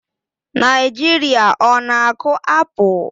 Naijiria ọ na-akụ apụl?